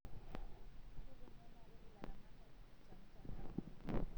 Keitengenare ilaramatak te mtandao